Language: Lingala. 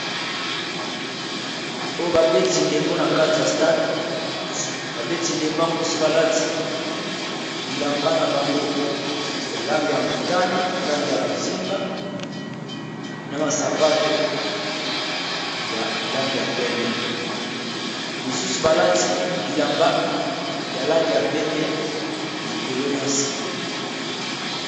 Oyo babeti ndembo na kati ya stade, babeti ndembo ango misusu balati bilamba na bango ya langi ya motani na langi ya bozinga na ba sapato ya langi ya pembe misusu balati bilamba ya langi ya pembe likolo na se.